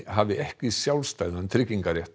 hafi ekki sjálfstæðan